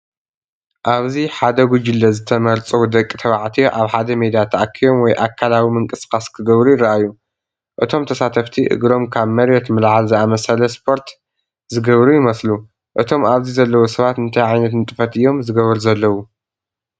ኣብዚ ሓደ ጉጅለ ዝተመርጹ ደቂ ተባዕትዮ ኣብ ሓደ ሜዳ ተኣኪቦም ወይ ኣካላዊ ምንቅስቓስ ክገብሩ ይረኣዩ። እቶም ተሳተፍቲ እግሮም ካብ መሬት ምልዓል ዝኣመሰለ ስፖርት ዝገብሩ ይመስሉ። እቶም ኣብዚ ዘለዉ ሰባት እንታይ ዓይነት ንጥፈት እዮም ዝገብሩ ዘለዉ?